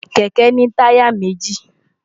kẹ̀kẹ́ ní táyà méji